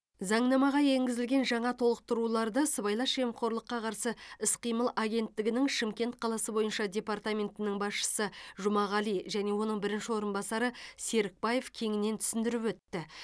заңнамаға енгізілген жаңа толықтыруларды сыбайлас жемқорлыққа қарсы іс қимыл агенттігінің шымкент қаласы бойынша департаментінің басшысы жұмағалин және оның бірінші орынбасары серікбаев кеңінен түсіндіріп өтті